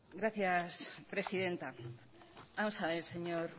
gracias presidenta vamos a ver señor